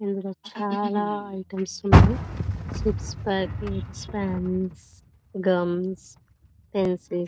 ఇందులో చాల ఐటమ్స్ ఉన్నాయి chips packets pens gums pencils --